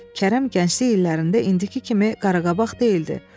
Kərəm gənclik illərində indiki kimi Qaraqabaq deyildi.